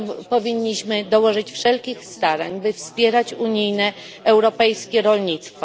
Powinniśmy dołożyć wszelkich starań, by wspierać unijne, europejskie rolnictwo.